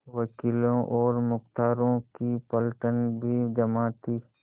वकीलों और मुख्तारों की पलटन भी जमा थी